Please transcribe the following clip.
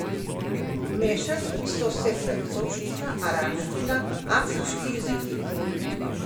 Mešali so se francoščina, arabščina, afriški jeziki.